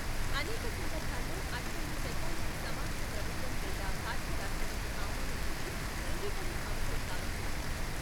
అనేక సందర్భాల్లో, అటువంటి చట్టానికి సమాఖ్య ప్రభుత్వం లేదా భారత రాష్ట్రపతి ఆమోదం నుండి ధృవీకరణ అవసరం కావొచ్చు.